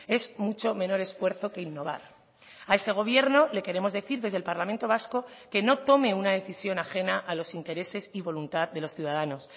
es mucho menor esfuerzo que innovar a ese gobierno le queremos decir desde el parlamento vasco que no tome una decisión ajena a los intereses y voluntad de los ciudadanos